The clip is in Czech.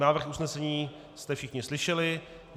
Návrh usnesení jste všichni slyšeli.